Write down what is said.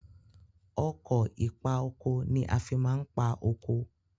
Ọkọ̀ ìpa oko ni a fi máa ń pa oko.